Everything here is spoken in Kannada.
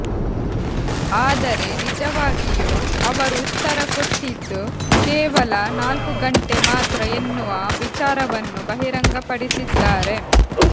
ಆದರೆ ನಿಜವಾಗಿಯೂ ಅವರು ಉತ್ತರ ಕೊಟ್ಟಿದ್ದು ಕೇವಲ ನಾಲ್ಕು ಗಂಟೆ ಮಾತ್ರ ಎನ್ನುವ ವಿಚಾರವನ್ನು ಬಹಿರಂಗಪಡಿಸಿದ್ದಾರೆ